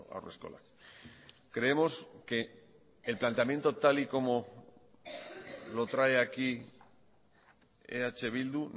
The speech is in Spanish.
haurreskolak creemos que el planteamiento tal y como lo trae aquí eh bildu